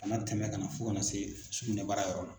A na tɛmɛ ka na fo ka na se sugunɛbara yɔrɔ ma.